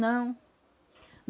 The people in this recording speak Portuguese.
Não.